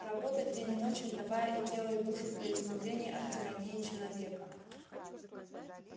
работать день и ночь отдавая и тело и душу для избавления от тирании человека